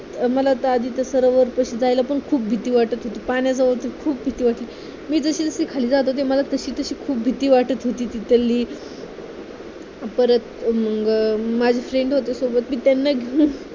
मला तर आधी तर सरोवर पाशी जायला पण खूप भीती वाटत होती पाण्याजवळ तर खूप भीती वाटली मी जशी जशी खाली जात होती मला तशी तशी खूप भीती वाटत होती तिथली परत मग माझे friends होते माझ्या सोबत मी त्यांना घेऊन